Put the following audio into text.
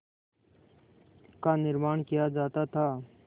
का निर्माण किया जाता था